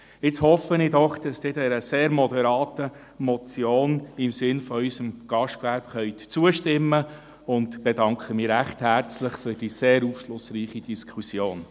Jetzt hoffe ich doch, dass Sie dieser sehr moderaten Motion im Sinne unseres Gastgewerbes zustimmen können und bedanke mich recht herzlich für die sehr aufschlussreiche Diskussion.